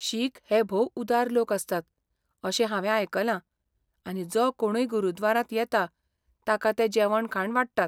शीख हे भोव उदार लोक आसतात अशें हांवें आयकलां, आनी जो कोणूय गुरद्वारांत येता ताका ते जेवण खाण वाडटात.